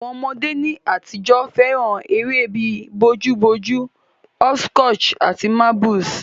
Àwon ọmọdé ní àtijọ́ fẹ́ràn eré bi bojú bojú, hopscotch àti marbles